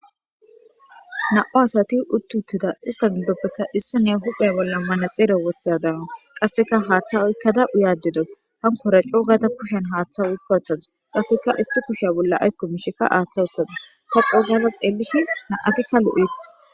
na7u asati utt uuttida istamidoppekka issi ne huphe bolla mana xeere woththidadama qasseka haaththa oykkada uyaadedos hankora coogata kushen haaththa oykka ottadus qasseka isti kusha bolla aykomishekka aaththa uttadis ta cougada xeellishi na7atikka lo7etis.